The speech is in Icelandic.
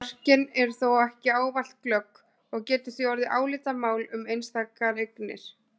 tíma hafi þjóðin búið við sama verkmenningarstig og var í fornöld.